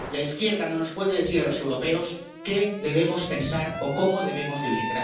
La izquierda no nos puede decir a los europeos qué debemos pensar o cómo debemos vivir.